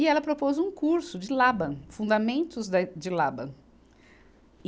E ela propôs um curso de Laban, Fundamentos da e, de Laban.